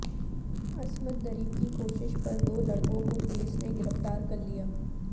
عصمت دری کی کوشش پر دو لڑکوں کو پولیس نے گرفتارکرلیا